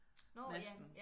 Masten